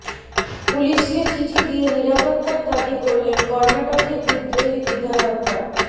পুলিশকে চিঠি দিয়ে নিরাপত্তার দাবি করলেন কর্নাটকের বিদ্রোহী বিধায়করা